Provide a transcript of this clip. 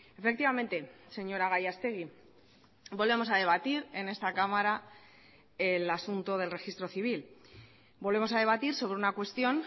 efectivamente señora gallastegui volvemos a debatir en esta cámara el asunto del registro civil volvemos a debatir sobre una cuestión